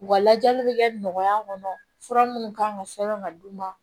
U ka lajɛli bɛ kɛ nɔgɔya kɔnɔ fura minnu kan ka sɛbɛn ka d'u ma